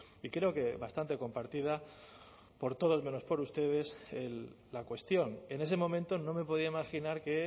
y creo que bastante compartida por todos menos por ustedes la cuestión en ese momento no me podía imaginar que